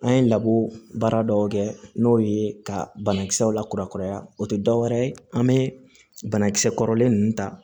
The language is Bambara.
An ye laburu baara dɔw kɛ n'o ye ka banakisɛw la kurakuraya o te dɔwɛrɛ ye an be banakisɛ kɔrɔlen ninnu ta